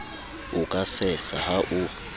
o ka sesa ha o